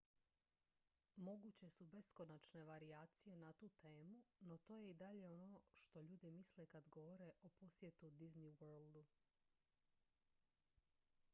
"moguće su beskonačne varijacije na tu temu no to je i dalje ono na što ljudi misle kad govore o "posjetu disney worldu"".